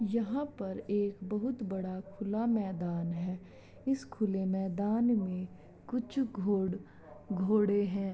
यहाँ पर एक बहुत बड़ा खुला मैदान है इस खुले मैदान में कुछ घोड़ घोड़े हैं।